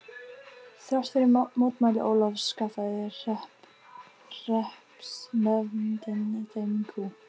Þrátt fyrir mótmæli Ólafs skaffaði hreppsnefndin þeim kú.